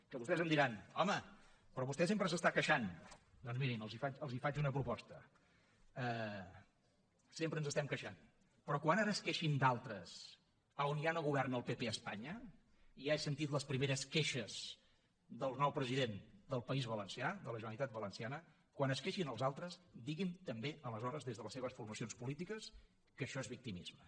que vostès em diran home però vostè sempre s’està queixant doncs mirin els faig una proposta sempre ens estem queixant però quan ara es queixin d’altres a on ja no governa el pp a espanya i ja he sentit les primeres queixes del nou president del país valencià de la generalitat valenciana quan es queixin els altres diguin també aleshores des de les seves formacions polítiques que això és victimisme